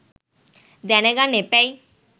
දැන ගන්න එපැයි.